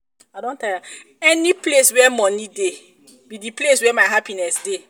any place where money dey be the place where my happiness dey